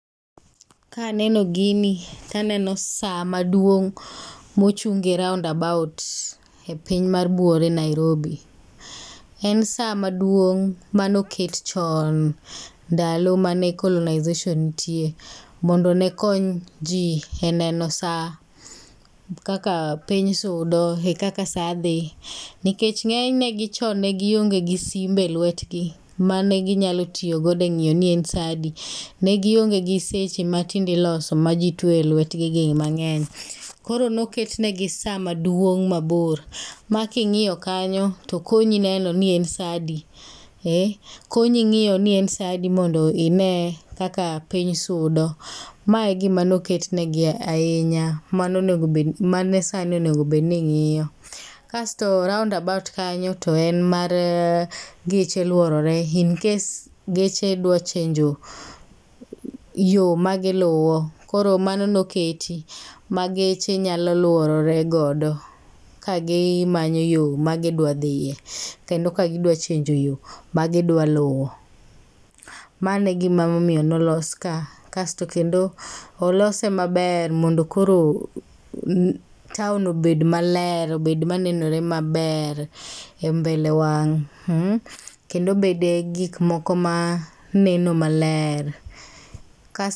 Ka aneno gini to aneno sa maduong' mochung e roundabout e piny mar buore Nairobi. En sa maduong' mane oket chon ndalo mane colonization nitie. Mondo ne kony ji e neno sa, kakapiny sudo e kaka sa dhi. Nikech ng'enyne chon ne gionge gi simbe e lwetgi mane ginyalo tiyogodo e ng'iyo ni en sa adi. Ne gionge gi seche ma tinde iloso ma ji tweyo e lwetgi gi mang'eny. Koro niket negii sa maduong mabor ma king'iyo kanyo to konyi neno ni en sa adi. Ee konyi ng'iyo n i en sa adi mondo ine kaka piny sudo. Mae e gima ne oketnegi ahinya. Mane onego bed ni, mane sa ni onego bed ni ng'iyo. Kasto round about kanyo to en mar geche luorore in case geche dwa change yo magiluwo. Koro mano ne oketi ma geche nyalo luorore godo ka gimanyo yo magidwadhiye. Kendo ka gidwa change yo ma gidwa luwo.